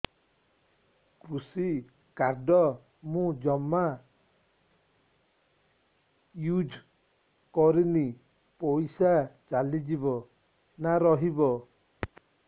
କୃଷି କାର୍ଡ ମୁଁ ଜମା ୟୁଜ଼ କରିନି ପଇସା ଚାଲିଯିବ ନା ରହିବ